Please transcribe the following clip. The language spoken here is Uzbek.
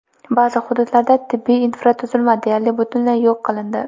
Ba’zi hududlarda tibbiy infratuzilma deyarli butunlay yo‘q qilindi.